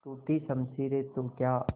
टूटी शमशीरें तो क्या